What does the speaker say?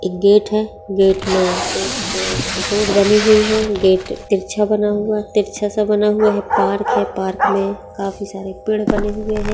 एक गेट है गेट में एक रोड बनी हुई है गेट तिरछा बना हुआ तिरछा सा बना हुआ है पार्क है पार्क में काफी सारे पेड़ बने हुए हैं।